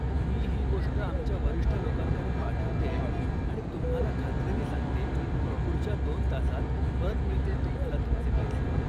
मी ही गोष्ट आमच्या वरिष्ठ लोकांकडे पाठवतेय आणि तुम्हाला खात्रीनी सांगते की पुढच्या दोन तासांत परत मिळतील तुम्हाला तुमचे पैसे.